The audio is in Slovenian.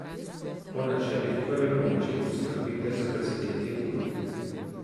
Po načelih prve pomoči poskrbite za prizadeti ud.